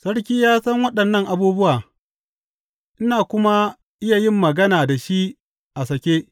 Sarki ya san waɗannan abubuwa, ina kuma iya yin magana da shi a sake.